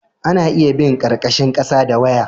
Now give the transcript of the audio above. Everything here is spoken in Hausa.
ana iya bin karkashin kasa da waya